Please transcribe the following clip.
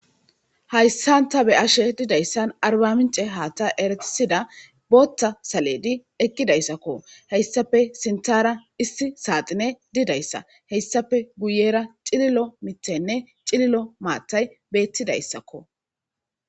hayssan ta be'ashe didayssan arbamince haata eratisida bootta saledi ekkidayssakko heyssafe sintara issi saaxine didayssa heyssafe guyera cililo mitenne cililo maatay beettidayssakko